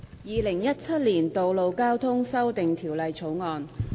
《2017年道路交通條例草案》。